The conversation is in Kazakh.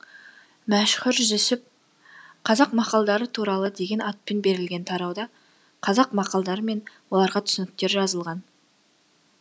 мәшһүр жүсіп қазақ мақалдары туралы деген атпен берілген тарауда қазақ мақалдары мен оларға түсініктер жазылған